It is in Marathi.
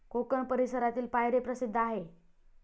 कोकण परिसरातील पायरी प्रसिद्ध आहे.